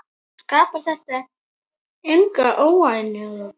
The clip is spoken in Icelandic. Skapar þetta enga óánægju?